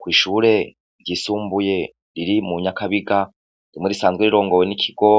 Kw'ishure ryisumbuye riri mu nyakabigaryo murisanzwe rirongoye n'ikigo